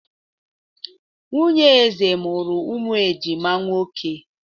Nwunye eze mụrụ ụmụ ejima nwoke.